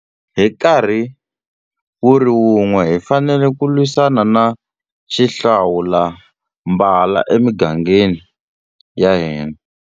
Hi nkarhi wu ri wun'we, hi fanele ku lwisana na xihlawulambala emigangeni ya hina.